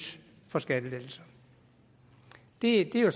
for skattelettelser det er